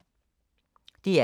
DR K